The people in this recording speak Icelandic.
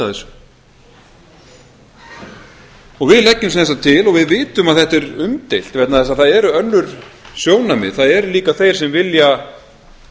þessu við gegnum sem sagt til og við vitum að þetta er umdeilt vegna þess að það eru önnur sjónarmið það eru líka þeir sem vilja